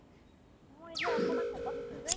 মই এতিয়া অকমান শকত হৈছো যে